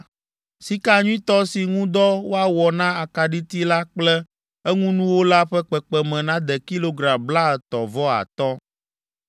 Sika nyuitɔ si ŋu dɔ woawɔ na akaɖiti la kple eŋunuwo la ƒe kpekpeme nade kilogram blaetɔ̃ vɔ atɔ̃.